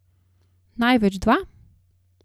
Največ dva?